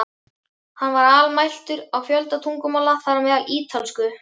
Hann var almæltur á fjölda tungumála, þar á meðal ítölsku.